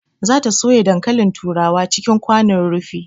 Za ta soya dankalin turawa cikin kwanon rufi